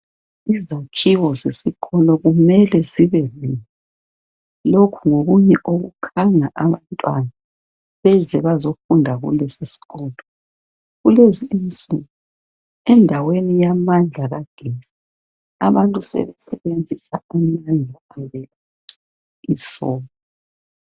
Izakhiwo zesikolo kumele zibe zinhle lokhu ngokunye okukhanga abantwana baze bazofunda kulesi sikolo kulezinsuku endaweni yamandla kagetsi abantu sebesebenzisa umlilo lesola